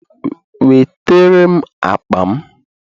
Wetere m akpa m